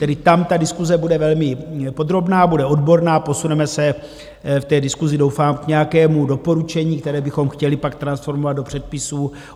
Tedy tam ta diskuse bude velmi podrobná, bude odborná, posuneme se v té diskusi doufám k nějakému doporučení, které bychom chtěli pak transformovat do předpisů.